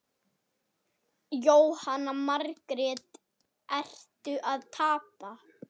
Jóhanna Margrét: Ertu að tapa?